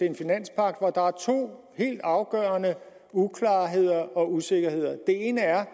en finanspagt hvor der er to helt afgørende uklarheder og usikkerheder den ene er